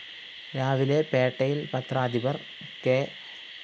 രാവിലെ പേട്ടയില്‍ പത്രാധിപര്‍ കെ